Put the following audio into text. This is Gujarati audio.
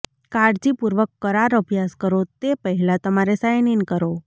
કાળજીપૂર્વક કરાર અભ્યાસ કરો તે પહેલાં તમારે સાઇન ઇન કરો